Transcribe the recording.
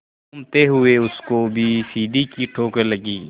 घूमते हुए उसको भी सीढ़ी की ठोकर लगी